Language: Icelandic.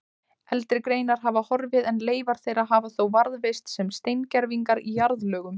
Eldri greinar hafa horfið en leifar þeirra hafa þó varðveist sem steingervingar í jarðlögum.